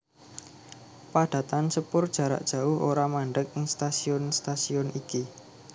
Padatan sepur jarak jauh ora mandheg ing stasiun stasiun iki